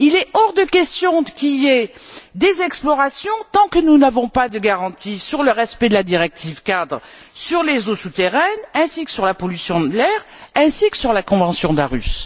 Il est hors de question qu'il y ait des explorations tant que nous n'avons pas de garantie sur le respect de la directive cadre sur les eaux souterraines ainsi que sur la pollution de l'air, tout comme sur la convention d'Aarhus.